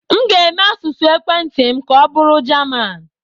M ga-eme asụsụ ekwentị m ka ọbụrụ Jaman.